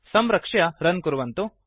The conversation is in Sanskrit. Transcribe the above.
संरक्ष्य रन् कुर्वन्तु